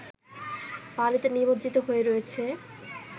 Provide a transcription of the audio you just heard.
পানিতে নিমজ্জিত হয়ে রয়েছে